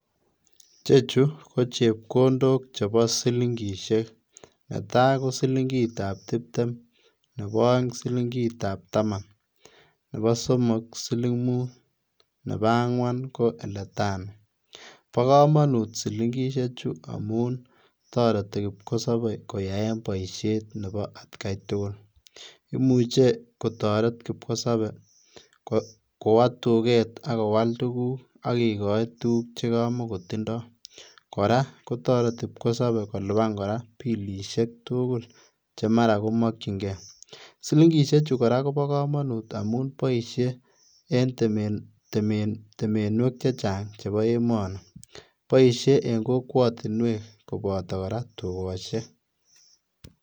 Chechu ko chepkondok chebo silingisiek netaa ko silingitab tiptem, neboo oeng ko silingitab taman, nebo somok ko silimut, nebo angwan ko elatano, bo komonut silingisiechu amun toreti kipkosobe koyaen boisiet nebo atkai tugul imuche kotoret kipkosope kowo tuket ak kowal tuguk akikoi tuguk chekamokotindo, koraa kotoreti kipkosopee koliban koraa bilisiek tugul chemara kokimokyingee silingisiechu koraa kobo komonut amun boisie en temenwek chechang chebo emoni boisie en kokwotinwek koboto kora tukosiek.